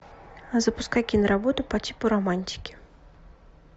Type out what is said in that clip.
запускай киноработу по типу романтики